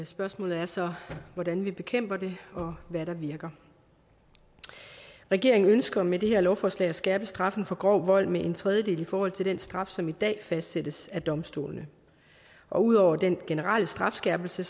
spørgsmålet er så hvordan vi bekæmper det og hvad der virker regeringen ønsker med det her lovforslag at skærpe straffen for grov vold med en tredjedel i forhold til den straf som i dag fastsættes af domstolene og ud over den generelle strafskærpelse